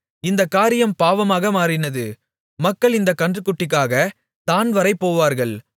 இந்தக் காரியம் பாவமாக மாறினது மக்கள் இந்த கன்றுக்குட்டிக்காகத் தாண்வரை போவார்கள்